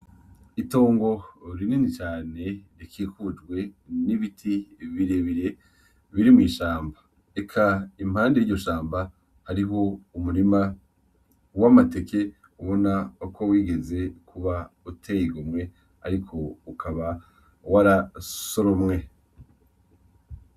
Itongo rinini cane rikikujwe n'ibiti birebire biri mw'ishamba, Eka impande y'iryo shamba hariho umurima w'amateke ubona ko wigeze kuba uteye igomwe ariko ukaba warasoromwe.